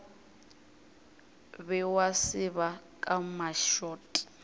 be wa seba ka mašot